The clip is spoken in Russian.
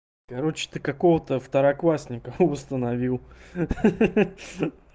короче ты какого-то второклассника восстановил ха ха ха